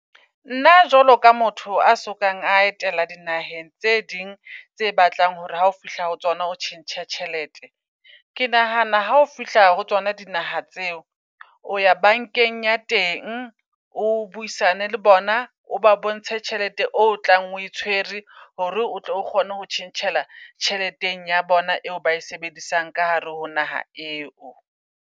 Nna jwalo ka motho a sokang a etela dinaheng tse ding tse batlang hore ha ho fihla ho tsona ho tjhentjha tjhelete. Ke nahana ha o fihla ho tsona dinaha tseo o ya bankeng ya teng o buisane le bona, o ba bontshe tjhelete o tlang oe tshwere. Hore o tle o kgone ho tjhentjhela tjheleteng ya bona eo ba e sebedisang ka hare ho naha eo.